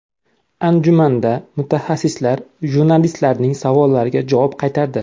Anjumanda mutaxassislar jurnalistlarning savollariga javob qaytardi.